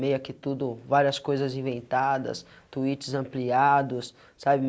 Meio que tudo, várias coisas inventadas, tweets ampliados, sabe?